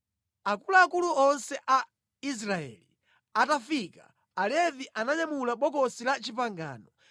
Akuluakulu onse a Israeli atafika, Alevi ananyamula Bokosi la Chipangano,